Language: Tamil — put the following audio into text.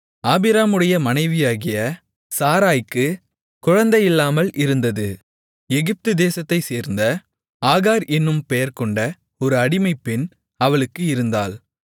ஆபிராமுடைய மனைவியாகிய சாராய்க்குக் குழந்தையில்லாமல் இருந்தது எகிப்து தேசத்தைச் சேர்ந்த ஆகார் என்னும் பெயர்கொண்ட ஒரு அடிமைப்பெண் அவளுக்கு இருந்தாள்